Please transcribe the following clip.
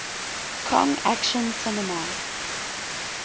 kong action cinema